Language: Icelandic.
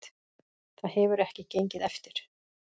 Það hefur ekki gengið eftir